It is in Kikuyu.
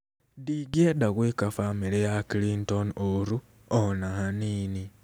Ndingĩenda gwĩka famĩlĩ ya Clinton ũũru, o na hanini".